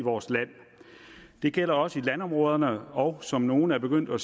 vores land det gælder også i landområderne og i som nogle er begyndt at